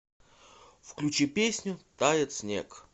включи песню тает снег